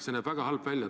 See näeb väga halb välja.